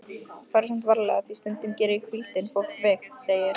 Farðu samt varlega því stundum gerir hvíldin fólk veikt, segir